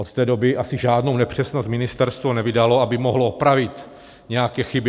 Od té doby asi žádnou nepřesnost ministerstvo nevydalo, aby mohlo opravit nějaké chyby.